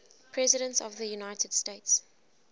presidents of the united states